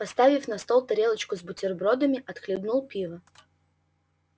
поставил на стол тарелочку с бутербродами отхлебнул пива